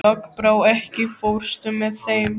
Lokbrá, ekki fórstu með þeim?